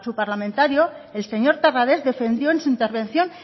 parlamentario el señor terrades defendió en su intervención